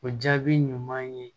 O jaabi ɲuman ye